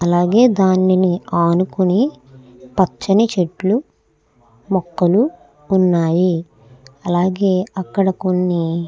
అలాగే దానిని అనుకొని పచ్చని చెట్లు మొక్కలు ఉన్నాయి. అలాగే అక్కడ కొన్ని--